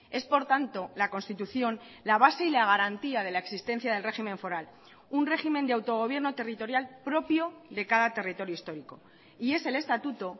es por tanto la constitución la base y la garantía de la existencia del régimen foral un régimen de autogobierno territorial propio de cada territorio histórico y es el estatuto